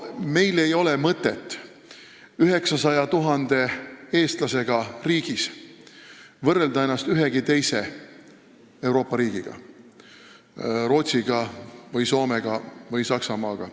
Meil ei ole mõtet siin 900 000 eestlasega riigis võrrelda ennast ühegi teise Euroopa riigiga, Rootsi, Soome või Saksamaaga.